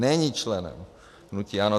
Není členem hnutí ANO.